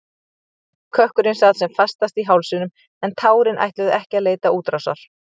Kökkurinn sat sem fastast í hálsinum en tárin ætluðu ekki að leita útrásar.